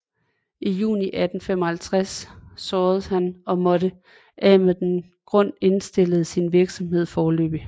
I juni 1855 såredes han og måtte af den grund indstille sin virksomhed foreløbig